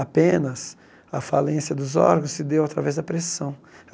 Apenas a falência dos órgãos se deu através da pressão.